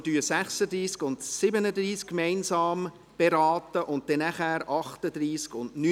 Wir beraten die Traktanden 36 und 37 gemeinsam und nachher die Traktanden 38 und 39.